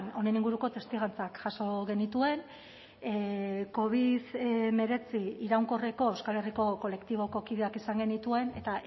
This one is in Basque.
honen inguruko testigantzak jaso genituen covid hemeretzi iraunkorreko euskal herriko kolektiboko kideak izan genituen eta